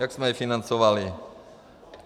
Jak jsme je financovali?